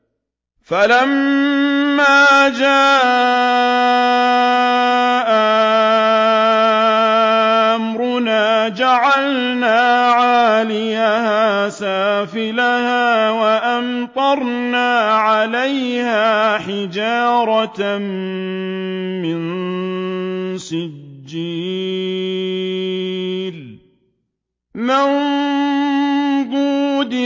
فَلَمَّا جَاءَ أَمْرُنَا جَعَلْنَا عَالِيَهَا سَافِلَهَا وَأَمْطَرْنَا عَلَيْهَا حِجَارَةً مِّن سِجِّيلٍ مَّنضُودٍ